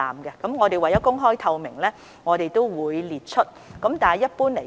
不過，為公開透明，我們亦會列出有關個案。